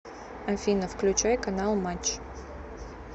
афина включай канал матч